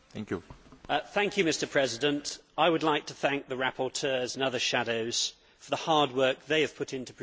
Mr President, I would like to thank the rapporteurs and other shadows for the hard work they have put into producing these reports.